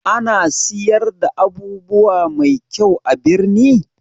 Ana siyar da abubuwa mai kyau a birni?